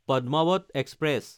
Padmavat express